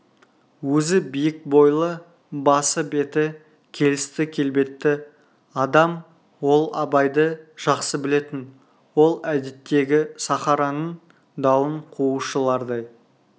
өзі биік бойлы басы-беті келісті келбетті адам ол абайды жақсы білетін ол әдеттегі сахараның дауын қуушылардай